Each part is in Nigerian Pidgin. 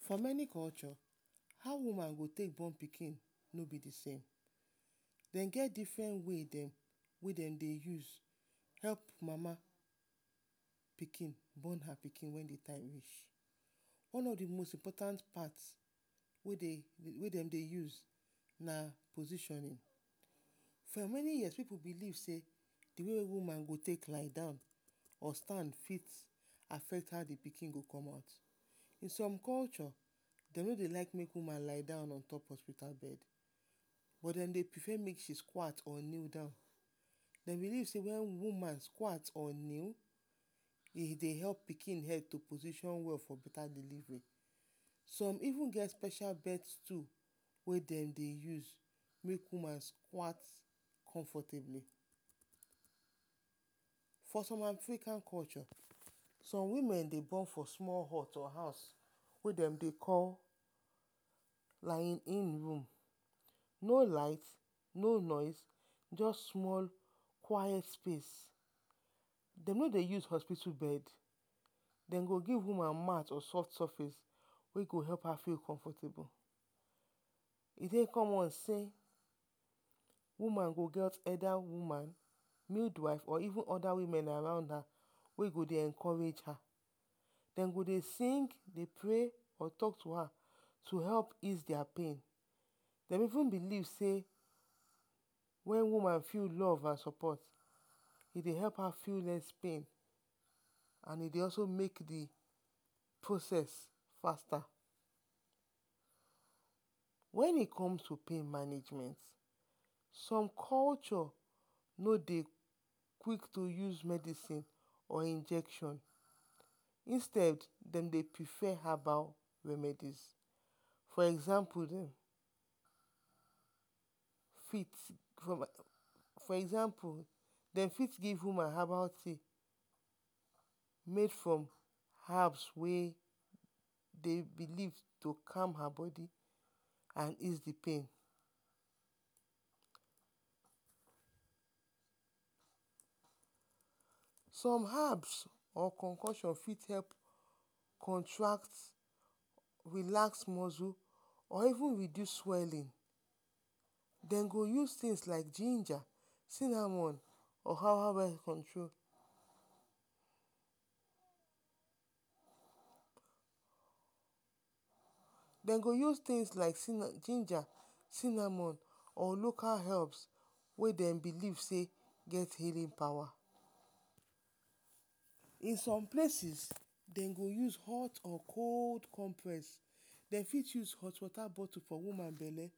For meni culture how woman dey take born pikin no be the same, dem get different way dem wey dm dey use help mama pikin bon her pikin wen the time reach. one of the most important part wey dem dey use na positionin. For meni years pipu belie sey the way woman go take lie down or stand fit affect how the pikin go come out.to som culture de no dey like make woman lie down on top beta bed, dem belief make she squat or or neel down, e dey belief sey wen woman quat or neel, e dey help pikin head to position well for beta deliveri, som even get special birth clew wey dem dey use make woman squat comfortabli foe som African culture som wimen dey bon for small hot or house, wey dem dey call…………? room, no light, no noise, just small quit space. De no dey give hospital space, dem go give woman mat or soft surface wey go help her feel comfortable. E dey common sey woman go get oda woman, midwife or even oda woman around her wey go dey wey go dey encourage her, den go dey sing prey or talk to her to help ease dia pain, dem even belief sey wen woman feel love and sopot, e dey help am feel respect and e dey also make the proces fasta. Wen e come to pain management, som cultureno dey quik use medicineor injection, instead dey prefa habal medicine for example…………?dem fit give woman habal tea, make som habs wey dem belief to calm her bodi and ease the pain. Som habs or konkosion fit help contract, relax muscle or even reduce swellin, dem go use tins like ginger, cinamol or habal control, dem go use tins like ginger, cinamol or local habs wey dem belief sey, e get healin pawa. In som places, dem go use hot and cold complex, dem fit use hot wota botu for woman bele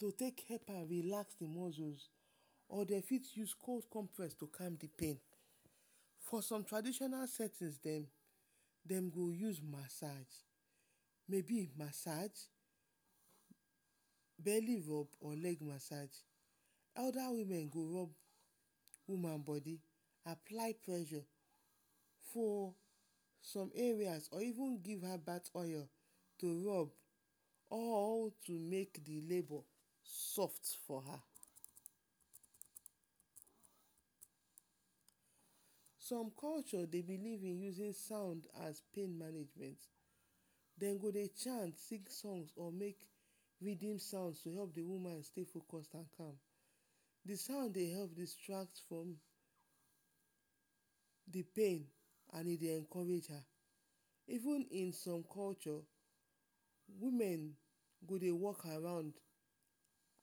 dey take help her relax the muscles or dem fit use cold compres to calm the pain.for som traditional setin dem, dem go use masaj…….? Bele rob or leg amsaj. Oda women go rob woman bodi apply presssurefor som areas or even give her birth oil, all to make the labor soft for her. som culture dey belief in usin sound as pain management, dem go dey…………? Make readin songs to help the woman dey focus at hand, the sounds dey help distract the pain and e dey help encourage her, even in som culture, woman go dey work around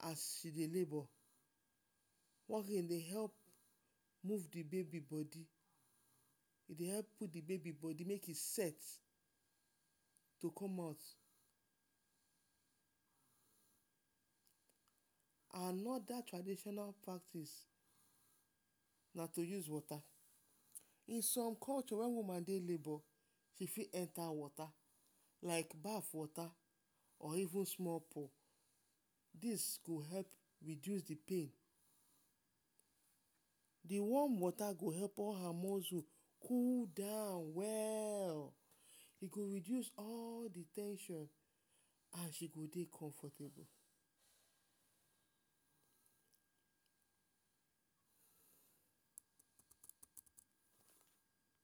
as she dey labor, e dey move the bebi bodi, e dey help move the bebi bodi make e dey set to come out. Anoda tradititonal practice na to use wota. In som culture wen woman dey labor, she fit enta wota, like baf wota or even small pool dis go help reduce the pain, the warm wota go help her muscle cool down well, e go reduce all the ten sion and she go dey comfortable.